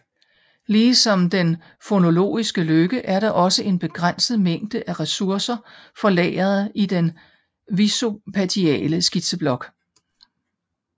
Ligesom den fonologiske løkke er der også en begrænset mængde af ressourcer for lageret i den visuospatiale skitseblok